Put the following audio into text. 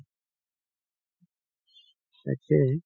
তাকেই